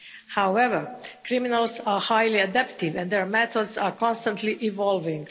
However, criminals are highly adaptive and their methods are constantly evolving.